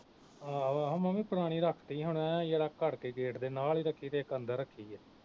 ਆਹੋ ਮੈਂ ਵੀ ਪੁਰਾਣੀ ਰੱਖਤੀ ਹੁਣ ਐ ਜਰਾ ਘੜ ਕੇ gate ਦੇ ਨਾਲ ਹੀ ਰੱਖੀ ਤੇ ਇਕ ਅੰਦਰ ਰੱਖੀ